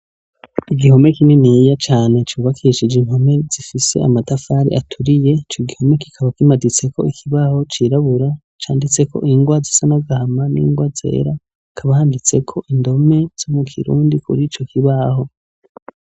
Igihome kinini cane cubakishije impome zifise amatafari aturiye ico gihome kikaba kimaditseho ikibaho cirabura canditseko ingwa zisa n'agahama hakaba handitseko indome zikirundi.